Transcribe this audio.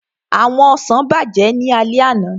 Àwọn ọsàn bàjẹ́ ní alẹ́ àná